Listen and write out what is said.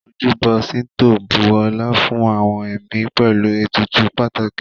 Ojúbọ ṣíńtò bu ọlá fún àwọn ẹ̀mí pẹ̀lú ètùtù pàtàkì